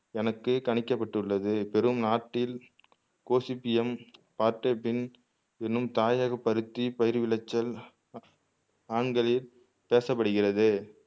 கணக்கு கணிக்கப்பட்டுள்ளது பெரும் நாட்டில் கோசிப்பியம் ஆர்தர்பின் என்னும் தாயக பருத்தி பயிர் விளைச்சல் ஆங்களில் பேசப்படுகிறது